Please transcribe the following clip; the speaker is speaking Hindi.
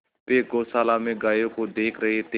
वे गौशाला में गायों को देख रहे थे